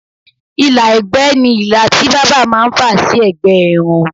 ìlà ẹ̀gbẹ́ ni ilà tí bábà máà ń fà sí ẹ̀gbẹ́ irun